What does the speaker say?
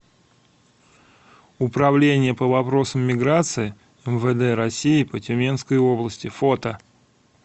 управление по вопросам миграции мвд россии по тюменской области фото